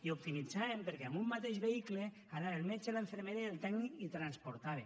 i optimitzaven perquè amb un mateix vehicle anaven el metge la infermera i el tècnic i transportava